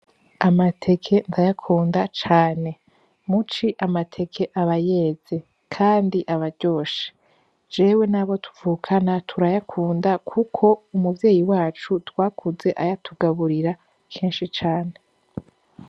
Amateke ntayakunda cane muci amateke abayeze, kandi abaryoshe jewe nabo tuvukana turayakunda, kuko umuvyeyi wacu twakuze ayatugaburira kenshi cane.